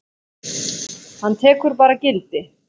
Hann tekur bara gildi?